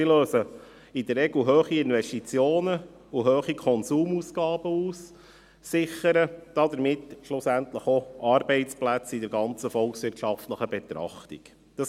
Sie lösen in der Regel hohe Investitionen und hohe Konsumausgaben aus und sichern damit schlussendlich in einer gesamthaften volkswirtschaftlichen Betrachtung auch Arbeitsplätze.